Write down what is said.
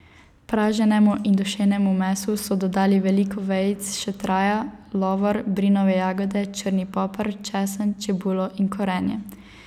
Praženemu in dušenemu mesu so dodali veliko vejic šetraja, lovor, brinove jagode, črni poper, česen, čebulo in korenje.